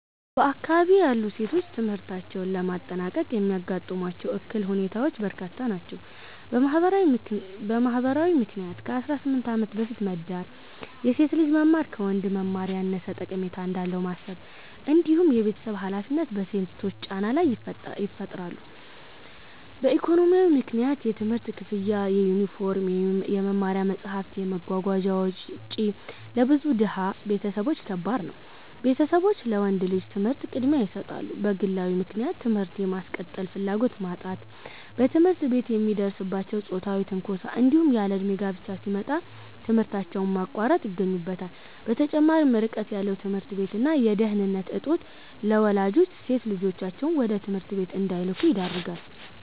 በአካባቢዬ ያሉ ሴቶች ትምህርታቸውን ለማጠናቀቅ የሚያጋጥሟቸው እክል ሁኔታዎች በርካታ ናቸው። በማህበራዊ ምክንያት ከ18 ዓመት በፊት መዳር፣ የሴት ልጅ መማር ከወንድ መማር ያነሰ ጠቀሜታ እንዳለው ማሰብ፣ እንዲሁም የቤተሰብ ሃላፊነት በሴቶች ላይ ጫና ይፈጥራሉ። በኢኮኖሚያዊ ምክንያት የትምህርት ክፍያ፣ የዩኒፎርም፣ የመማሪያ መጽሐፍት እና የመጓጓዣ ወጪ ለብዙ ድሃ ቤተሰቦች ከባድ ነው፤ ቤተሰቦች ለወንድ ልጅ ትምህርት ቅድሚያ ይሰጣሉ። በግለዊ ምክንያት ትምህርት የማስቀጠል ፍላጎት ማጣት፣ በትምህርት ቤት የሚደርስባቸው ጾታዊ ትንኮሳ፣ እንዲሁም ያለእድሜ ጋብቻ ሲመጣ ትምህርታቸውን ማቋረጥ ይገኙበታል። በተጨማሪም ርቀት ያለው ትምህርት ቤት እና የደህንነት እጦት ለወላጆች ሴት ልጆቻቸውን ወደ ትምህርት ቤት እንዳይልኩ ያደርጋል።